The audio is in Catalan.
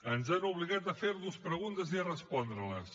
ens han obligat a fer nos preguntes i a respondre les